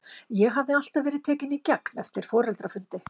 Ég hafði alltaf verið tekinn í gegn eftir foreldrafundi.